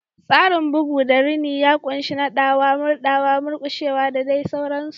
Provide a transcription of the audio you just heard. Tsarin bugu da rini ya ƙunshi naɗawa, murɗawa, murƙushewa, da dai sauransu.